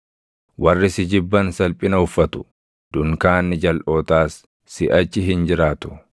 Warri si jibban salphina uffatu. Dunkaanni jalʼootaas siʼachi hin jiraatu.”